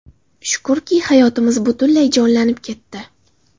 Shukrki, hayotimiz butunlay jonlanib ketdi.